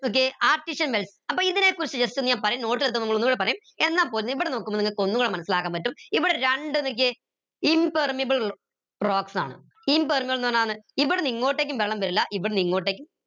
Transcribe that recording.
നോക്കിയേ artesian wells അപ്പൊ ഇതിനെ കുറിച്ച just ഒന്ന് ഞാൻ പറയും ഒന്നുടെ പറയും ഇവിടെ നോക്കുമ്പോ നിങ്ങക്ക് ഒന്നൂടെ മനസ്സിലാക്കാൻ പറ്റും ഇവിടെ രണ്ട് നോക്കിയേ impermeable rocks ആണ് impermeable ന്ന് പറഞ്ഞ ഇവിടെന്ന് ഇങ്ങോട്ടേക്കും വെള്ളം വരില്ല ഇവിടെ ഇങ്ങോട്ടേക്ക്